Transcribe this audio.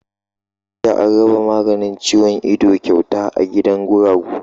Jiya an raba maganin ciwon ido kyauta a gidan guragu.